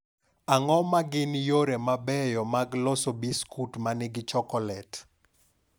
Ang�o ma gin yore mabeyo mag loso biskut ma nigi chokolet?